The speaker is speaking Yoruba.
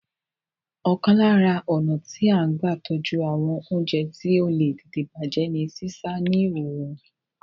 Ọ̀kan lára ọnà tí a n gba tọ́jú àwọn oúnjẹ tí ó le tètè bàjé ní sísá a ní òrùn